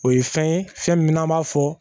O ye fɛn ye fɛn min n'an b'a fɔ